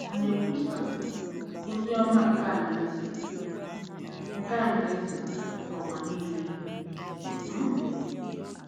À na-ekwusa “ozi ọma nke alaeze” nke alaeze” n'ụwa niile? um